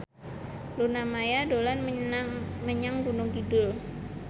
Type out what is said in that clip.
Luna Maya dolan menyang Gunung Kidul